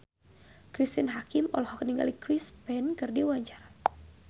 Cristine Hakim olohok ningali Chris Pane keur diwawancara